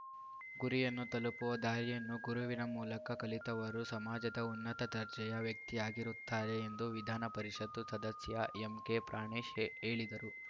ಗುರಿಯನ್ನು ತಲುಪುವ ದಾರಿಯನ್ನು ಗುರುವಿನ ಮೂಲಕ ಕಲಿತವರು ಸಮಾಜದ ಉನ್ನತ ದರ್ಜೆಯ ವ್ಯಕ್ತಿಯಾಗಿರುತ್ತಾರೆ ಎಂದು ವಿಧಾನ ಪರಿಷತ್ತು ಸದಸ್ಯ ಎಂಕೆ ಪ್ರಾಣೇಶ್‌ ಹೇಳಿದರು